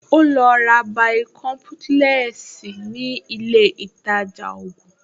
Ó lọ ra bàìkọ́ḿpúlẹ́ẹ̀sì ní ilé ìtajà ògùn